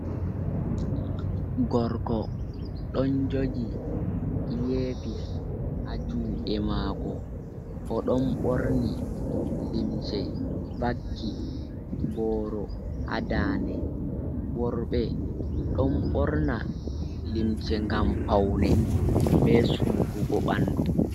Gorko ɗon joji airpis ha juɗe mako o ɗon borni limse vaki boro ha dande, worɓe ɗon ɓorna limse ngam paune be sufugo bandu.